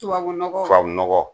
Tubabu nɔgɔ? Tubabu nɔgɔ.